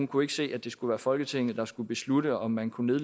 kunne se at det skulle være folketinget der skulle beslutte om man kunne